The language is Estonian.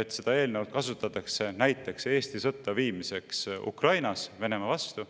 et seda eelnõu kasutatakse näiteks Eesti sõtta viimiseks Ukrainas Venemaa vastu.